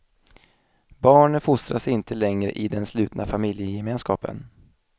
Barnen fostras inte längre i den slutna familjegemenskapen.